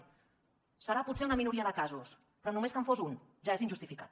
deu ser potser en una minoria de casos però només que en fos un ja és injustificat